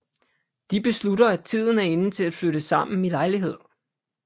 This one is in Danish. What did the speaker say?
De beslutter at tiden er inde til at flytte sammen i lejlighed